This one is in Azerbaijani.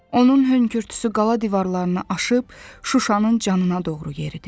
Onun hönkürtüsü qala divarlarını aşıb Şuşanın canına doğru yeridi.